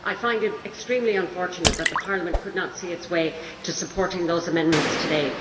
I find it extremely unfortunate that the House could not see its way to supporting those amendments today.